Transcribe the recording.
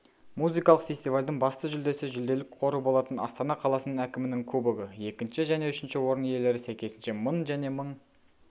музыкалық фестивальдің басты жүлдесі жүлделік қоры болатын астана қаласының әкімінің кубогы екінші және үшінші орын иелері сәйкесінше мың және мың